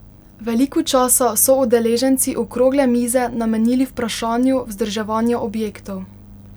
Veliko časa so udeleženci okrogle mize namenili vprašanju vzdrževanja objektov.